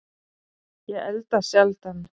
Ég elda sjaldan